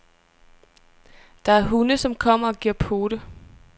Der er hunde, som kommer og giver pote.